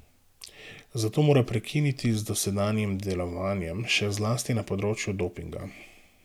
Zato mora prekiniti z dosedanjim delovanjem, še zlasti na področju dopinga.